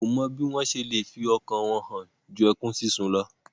Wọn kò mọ bí wọ́n se le fi ọkàn wọn hàn ju ẹkún sísun lọ.